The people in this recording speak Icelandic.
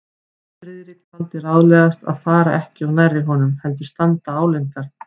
Friðrik taldi ráðlegast að fara ekki of nærri honum, heldur standa álengdar.